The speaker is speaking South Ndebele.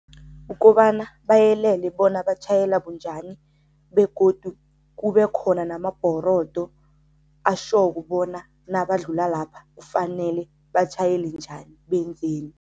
Ukobana bayelele bona batjhayela bunjani begodu kube khona namabhorodo ashoko bona nabadlula lapha kufanele batjhayele njani, benzeni.